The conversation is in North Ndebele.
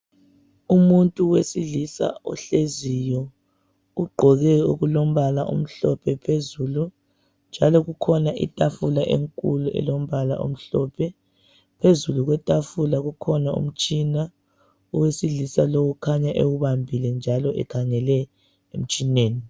Umuntu wesilisa ohleziyo ugqoke okulombala omhlophe phezulu njalo kukhona itafula enkulu elombala omhlophe njalo phezu kwetafula kukhona umtshina owesilisa lowo ukhanya ewubambile njalo ekhangele emtshineni.